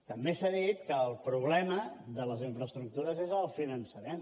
també s’ha dit que el problema de les infraestructures és el finançament